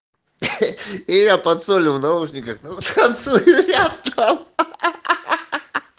я под солью в наушниках танцую ря ахаа